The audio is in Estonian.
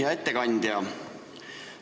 Hea ettekandja!